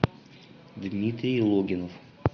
дмитрий логинов